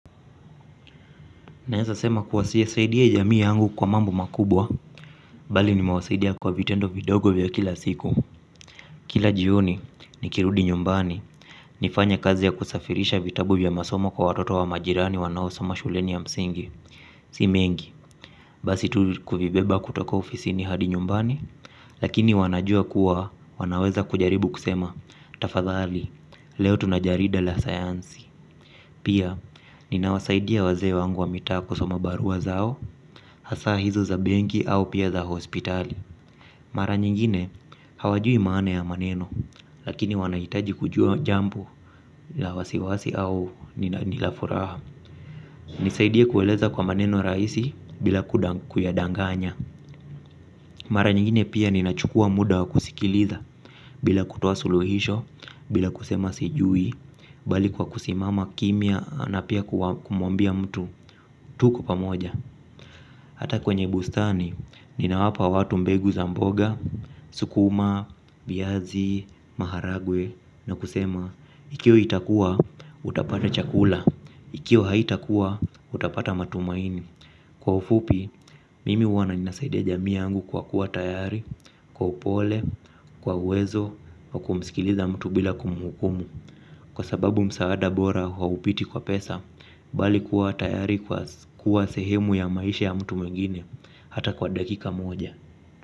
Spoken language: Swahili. Naeza sema kuwa sijasaidia jamii yangu kwa mambo makubwa, bali nimewasaidia kwa vitendo vidogo vya kila siku. Kila jioni, nikirudi nyumbani, nifanye kazi ya kusafirisha vitabu vya masomo kwa watoto wa majirani wanaosoma shuleni ya msingi. Si mengi, basi tu kuvibeba kutoka ofisini hadi nyumbani, lakini wanajua kuwa wanaweza kujaribu kusema, tafadhali, leo tuna jarida la sayansi. Pia ninawasaidia wazee wangu wa mitaa kusoma barua zao. Hasa hizo za benki au pia za hospitali. Mara nyingine hawajui maana ya maneno. Lakini wanahitaji kujua jambo la wasiwasi au ni la furaha. Nisaidie kueleza kwa maneno rahisi bila kuyadanganya. Mara nyingine pia ninachukua muda wa kusikiliza bila kutoa suluhisho, bila kusema sijui bali kwa kusimama kimya na pia kumwambia mtu. Tuko pamoja. Hata kwenye bustani. Ninawapa watu mbegu za mboga sukuma, viazi, maharagwe. Na kusema ikiwa itakuwa, utapata chakula. Ikiwa haitakuwa, utapata matumaini. Kwa ufupi, mimi huwana ninasaidia jamii yangu kwa kuwa tayari. Kwa upole, kwa uwezo wa kumsikiliza mtu bila kumhukumu. Kwa sababu msaada bora haupiti kwa pesa bali kuwa tayari kuwa sehemu ya maisha ya mtu mwingine hata kwa dakika moja.